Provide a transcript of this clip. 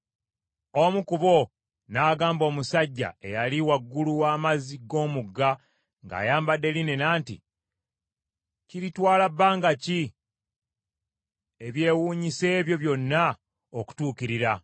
Omu ku bo n’agamba omusajja, eyali waggulu w’amazzi g’omugga ng’ayambadde linena nti, “Kiritwala bbanga ki ebyewuunyisa ebyo byonna okutuukirira?”